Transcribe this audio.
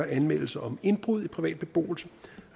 anmeldelser om indbrud i privat beboelse